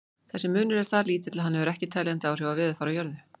Þessi munur er það lítill að hann hefur ekki teljandi áhrif á veðurfar á jörðu.